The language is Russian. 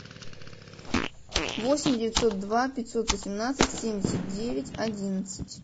восемь девятьсот два пятьсот восемнадцать семьдесят девять одиннадцать